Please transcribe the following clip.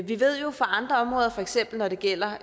vi ved jo fra andre områder for eksempel når det gælder